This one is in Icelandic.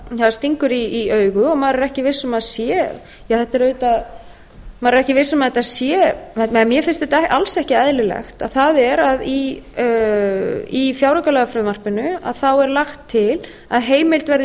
það stingur í augu og maður er ekki viss um að þetta sé eða mér finnst þetta alls ekki eðlilegt það er að í fjáraukalagafrumvarpinu er lagt til að heimild verði